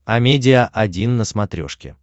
амедиа один на смотрешке